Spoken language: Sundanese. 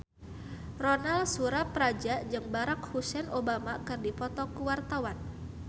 Ronal Surapradja jeung Barack Hussein Obama keur dipoto ku wartawan